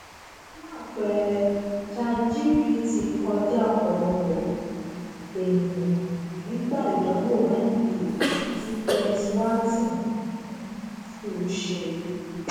fún àpẹẹrẹ chatgpt kọjá ọpọlọpọ um ènìyàn nígbà ìdánwò mba tí penns wharton um school ṣe